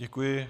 Děkuji.